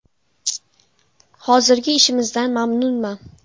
Hozirgi ishimizdan mamnunman.